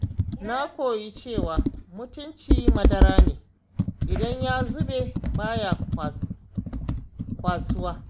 Na koyi cewa mutunci madara ne idan ya zube baya kwasuwa.